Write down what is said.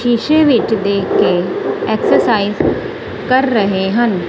ਸ਼ੀਸ਼ੇ ਵਿੱਚ ਦੇਖ ਕੇ ਐਕਸਰਸਾਈਜ਼ ਕਰ ਰਹੇ ਹਨ।